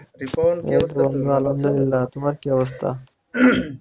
আলহামদুল্লিয়াহ তোমার কি অবস্থা?